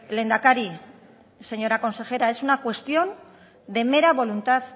lehendakari señora consejera es una cuestión de mera voluntad